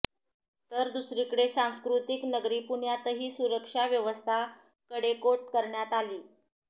तर दुसरीकडे सांस्कृतिक नगरी पुण्यातही सुरक्षा व्यवस्था कडेकोट करण्यात आलीय